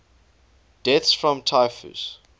deaths from typhus